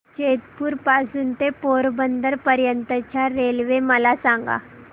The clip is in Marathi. जेतपुर पासून ते पोरबंदर पर्यंत च्या रेल्वे मला सांगा